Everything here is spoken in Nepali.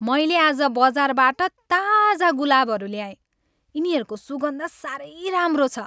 मैले आज बजारबाट ताजा गुलाबहरू ल्याएँ। यिनीहरूको सुगन्ध साह्रै राम्रो छ।